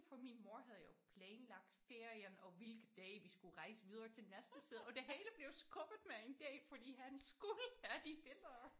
For min mor havde jo planlagt ferien og hvilke dage vi skulle rejse videre til næste sted og det hele blev jo skubbet med en dag fordi han skulle have de billeder